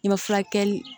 I bɛ furakɛli